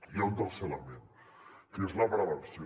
hi ha un tercer element que és la prevenció